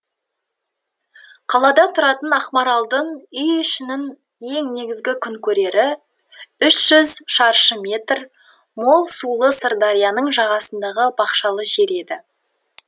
қалада тұратын ақмаралдың үй ішінің ең негізгі күн көрері үш жүз шаршы метр мол сулы сырдарияның жағасындағы бақшалы жер еді